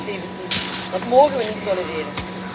2017! Dat mogen we niet tolereren.